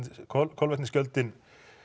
kolefnisgjöldin